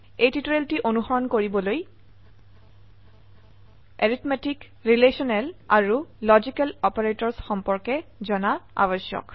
টিউটোৰিয়েলটি অনুসৰণ কৰিবলৈ arithmetic relational আৰু লজিকেল অপাৰেটৰ্ছ সম্পৰ্কে জনা আবশ্যক